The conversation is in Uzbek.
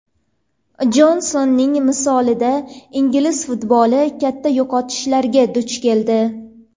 Jonsonning misolida ingliz futboli katta yo‘qotishlarga duch keldi.